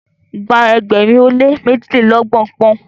gba ẹgbẹrin o le mejilelọgbọn poun